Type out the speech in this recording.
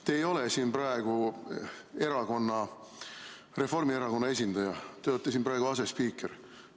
Te ei ole siin praegu oma erakonna, Reformierakonna esindaja, te olete siin praegu asespiiker.